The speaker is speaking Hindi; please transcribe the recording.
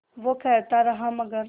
वो कहता रहा मगर